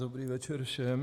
Dobrý večer všem.